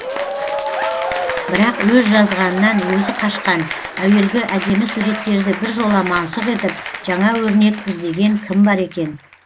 бірақ өз жазғанынан өзі қашқан әуелгі әдемі суреттерді біржола мансұқ етіп жаңа өрнек іздеген кім бар екен